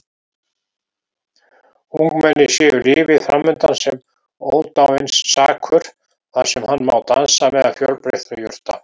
Ungmennið sér lífið framundan sem ódáinsakur þar sem hann má dansa meðal fjölbreyttra jurta.